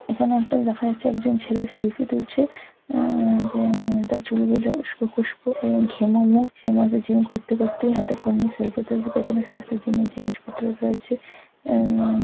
এখানে একজন ছেলে সেলফি তুলছে উম হুম তার চুল গুলো উস্কো খুস্কো ঘেমো মুখ জিম করতে করতে হাতে ফোন নিয়ে সেলফি তুলছে পেছনে প্রচুর জিম - এর জিনিসপত্র রয়েছে উম